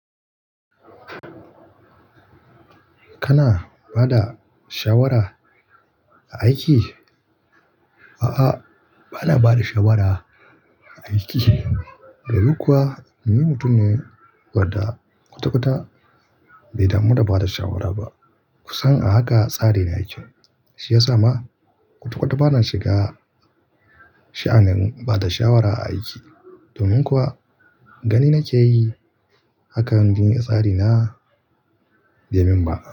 Kana ba da shawara a aiki? A'a, ba na ba da shawara a aiki. Domin kuwa ni mutum ne wadda kwata-kwata bai damu da bada shawara ba. Kusan a haka tsari na yake, shi ya sa ma kwata-kwata ba na shiga sha'anin bada shawara a aiki. Domin kuwa gani na ke yi hakan, bin iya tsari na bai min ba.